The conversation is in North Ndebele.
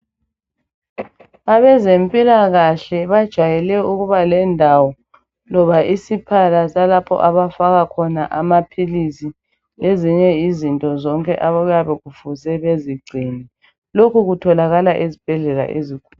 Abezempilakahle bajayele ukuba lendawo loba isikhala salapho abafaka khona amaphilisi lezinye izinto zonke okuyabe befuze bazingcine lokhu kutholakala ezibhedlela ezinkulu.